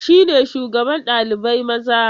Shi ne shugaban ɗalibai maza?